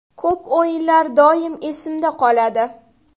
Ko‘p o‘yinlar doim esimda qoladi.